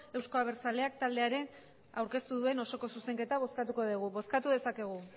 euzko abertzaleak taldeak aurkeztu duen osoko zuzenketa bozkatuko dugu bozkatu dezakegu